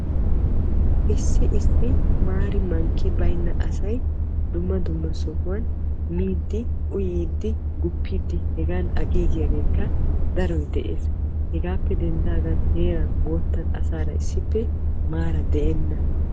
Issi issi maari mankki baynna asay dumma dumma sohuwan miiddi, uyiiddi, guppiiddi hegan aqiiggiyaageekka daroy de'ees. Hegaappe denddaagan heraan moottan asaara issippe maara de"enna.